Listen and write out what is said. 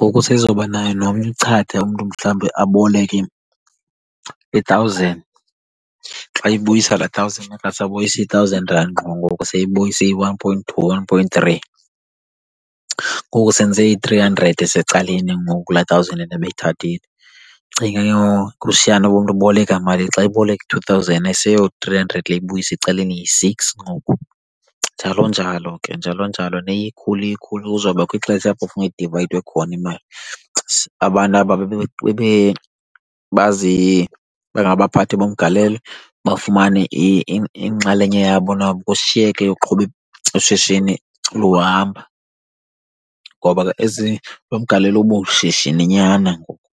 ngoku seyizobanaye nomnye uchatha, umntu mhlawumbe aboleke i-thousand xa eyibuyisa laa thousand akasabuyisi i-thousand rand ngqo ngoku seyibuyisa iyi-one point two, one point three. Ngoku senze i-three hundred esecaleni ngoku kulaa thousand rand ebeyithathile. Cinga ke ngoku kushiyana uba umntu uboleka malini. Xa eboleka i-two thousand ayiseyo-three hundred le ibuya isecaleni yi-six ngoku, njalo njalo ke, njalo njalo. Iye ikhula kuzobakho ixesha apho funeke idivayidwe khona imali. Abantu aba bangabaphathi bomgalelo bafumane inxalenye yabo nabo kushiyeke eyoqhuba ishishini luhamba, ngoba ke ezi, lo mgalelo ubushishininyana ngoku.